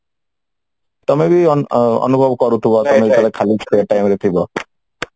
ତମେ ବି ଅନୁଭବ କରୁଥିବ ତମେ ଯେତେବେଳେ ଖାଲି time ରେ ଥିବ